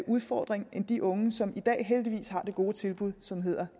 udfordring end de unge som i dag heldigvis har det gode tilbud som hedder